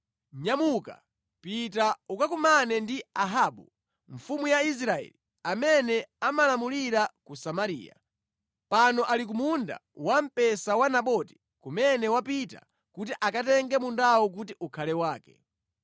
“Nyamuka, pita ukakumane ndi Ahabu, mfumu ya Israeli amene amalamulira ku Samariya. Pano ali ku munda wamphesa wa Naboti kumene wapita kuti akatenge mundawo kuti ukhale wake.